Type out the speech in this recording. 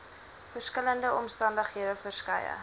verskillende omstandighede verskeie